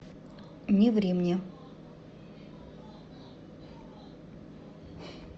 не ври мне